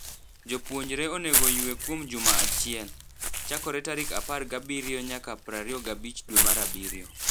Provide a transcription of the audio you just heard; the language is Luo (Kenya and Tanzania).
Jopuonjre onego oywe kuom juma chiel. Chakore tarik apar gabirio nayaka prario gabich dwe mar abirio.